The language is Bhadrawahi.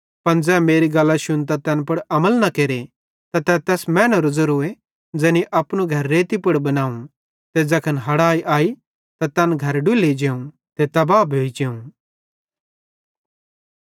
पन ज़ै मेरी गल्लां शुन्तां तैन पुड़ अमल न केरे त तै तैस मैनेरो ज़ेरोए ज़ैनी अपनू घर रेती पुड़ बनावं ते ज़ैखन हड़ाई अई त तैन घर डुल्ली जेवं ते तब्बा भोइ जेवं